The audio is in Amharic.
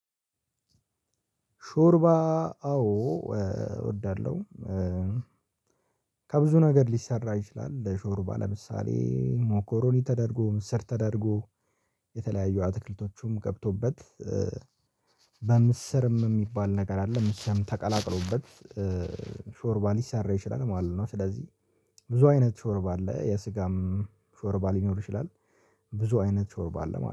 ሾርባ አዎ እወዳለሁ። ከብዙ ነገር ሊሰራ ይችላል ሾርባ ለምሳሌ ሞኮሮኒ ተደርጎ ምስር ተደርጎ የተለያዩ አትክልቶችም ገብቶበት በምስርም የሚባል ነገር አለ ምስርም ተቀላቅሎበት ሾርባ ሊሰራ ይችላል ማለት ነው። ስለዚህ ብዙ አይነት ሾርባ አለ የስጋም ሾርባ ሊኖር ይችላል። ብዙ አይነት ሾርባ አለ ማለት ነው